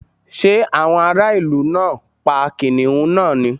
Ṣé àwọn ará ìlú náà pa kìnnìún náà ni?